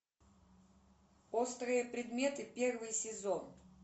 острые предметы первый сезон